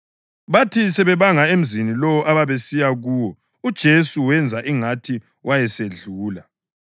Bathi sebebanga emzini lowo ababesiya kuwo uJesu wenza ingathi wayesedlula.